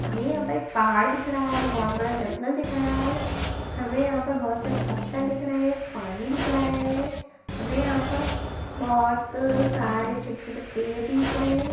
हमें यहाँ पे पहाड़ दिख रहा है बहौत बड़ा जंगल दिख रहा है हमें यहाँ पे बहौत से पत्थर दिख रहे हैं पानी दिख रहा है हमें यहाँ पर बहौत सारे छोटे-छोटे पेड़ भी दिख रहे हैं।